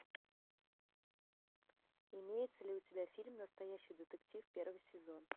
имеется ли у тебя фильм настоящий детектив первый сезон